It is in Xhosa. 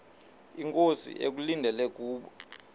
inkosi ekulindele kubo